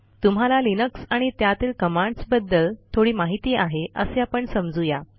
तुम्हाला लिनक्स आणि त्यातील कमांडसबद्दल थोडी माहिती आहे असे आपण समजू या